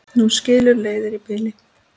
Nú skilur leiðir í bili.